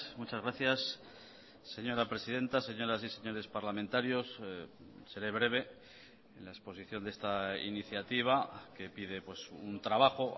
muchas gracias señora presidenta señoras y señores parlamentarios seré breve en la exposición de esta iniciativa que pide un trabajo